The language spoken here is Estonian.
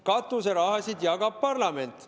Katuseraha jagab parlament.